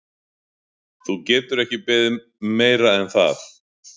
Þú getur ekki beðið um meira en það.